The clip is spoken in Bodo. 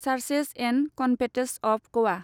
charges and convents of Goa